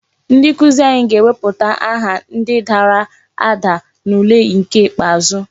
Ndi nkuzi anyị ga-ewepụta aha ndi dara ada n'ule nke ikpeazụ.